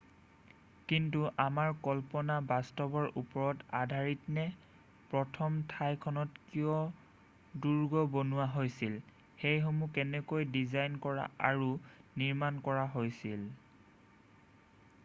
কিন্তু আমাৰ কল্পনা বাস্তৱৰ ওপৰত আধাৰিতনে প্ৰথম ঠাইখনত কিয় দুৰ্গ বনোৱা হৈছিল সেইসমূহ কেনেকৈ ডিজাইন কৰা আৰু নিৰ্মাণ কৰা হৈছিল